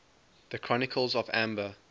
the chronicles of amber